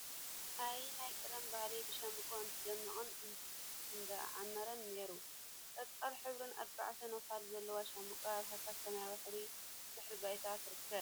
አየ! ናይ ቀደም ባህሊ ብሻምበቆ እንዳደመቀን እንዳዓመረን ነይሩ፡፡ ቆፃል ሕብሪን አርባዕተ ነኳልን ዘለዋ ሻምበቆ አብ ሃሳስ ሰማያዊ ሕብሪ ድሕረ ባይታ ትርከብ፡፡